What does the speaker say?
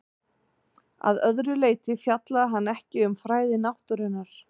Að öðru leyti fjallaði hann ekki um fræði náttúrunnar.